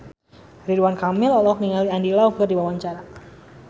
Ridwan Kamil olohok ningali Andy Lau keur diwawancara